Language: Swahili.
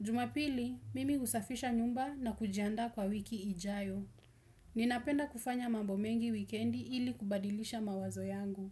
Jumapili, mimi usafisha nyumba na kujianda kwa wiki ijayo. Ninapenda kufanya mambo mengi weekendi ili kubadilisha mawazo yangu.